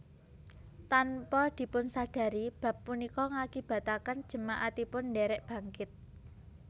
Tanpa dipunsadari bab punika ngakibataken jemaatipun ndherek bangkit